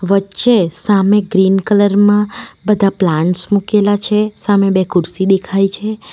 વચ્ચે સામે green colour માં બધા પ્લાન્ટ્સ મુકેલા છે સામે બે ખુરશી દેખાય છે.